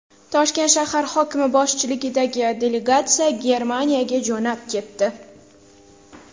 Toshkent shahar hokimi boshchiligidagi delegatsiya Germaniyaga jo‘nab ketdi.